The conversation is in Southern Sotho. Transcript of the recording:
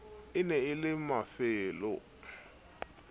e ne e le mafelo